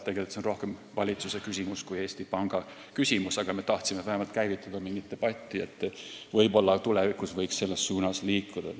Tegelikult on see rohkem valitsuse küsimus kui Eesti Panga küsimus, aga me tahtsime vähemalt käivitada mingi debati, et arutada, kas tulevikus võiks selles suunas liikuda.